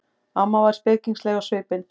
Amma var spekingsleg á svipinn.